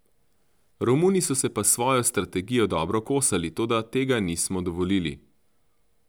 Romuni so se pa s svojo strategijo dobro kosali, toda tega nismo dovolili.